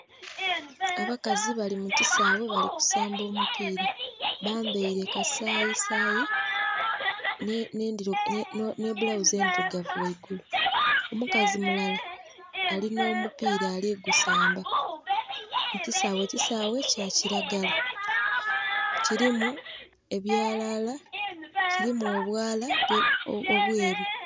Abakazi bali mu kisaawe bali kusamba omupiira. Bambaile kasayisayi nh'ebbulawuzi endhilugavu ghaigulu. Omukazi mulala alinha omupiira ali gusamba mu kisaawe, ekisaawe kya kilagala kilimu ebyalala, kilimu obwala obwelu.